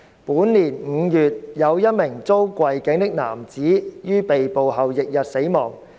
本年5月，有一名遭跪頸的男子於被捕後翌日死亡。